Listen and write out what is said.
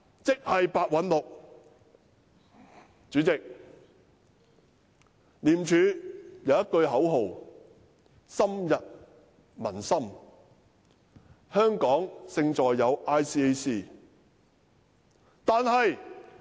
主席，廉署有一句深入民心的口號："香港勝在有 ICAC"。